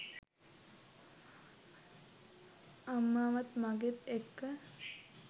අම්මාවත් මගෙත් එක්ක